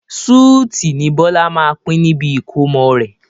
súútì ni Bọlá máa pin níbi ìkómọ rẹ̀